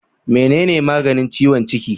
Mene ne maganin ciwon ciki?